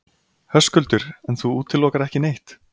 Höskuldur: En þú útilokar ekki neitt?